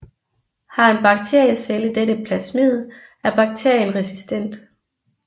Har en bakteriecelle dette plasmid er bakterien resistent